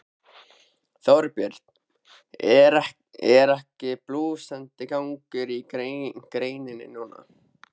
Þorbjörn: En er ekki blússandi gangur á greininni núna?